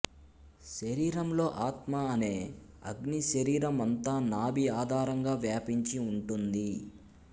శరీరంలో ఆత్మ అనే అగ్ని శరీరం అంతా నాభి ఆధారంగా వ్యాపించి ఉంటుంది